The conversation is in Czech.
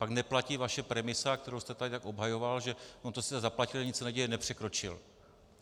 Pak neplatí vaše premisa, kterou jste tady tak obhajoval, že - on to sice zaplatil, nic se neděje, nepřekročil.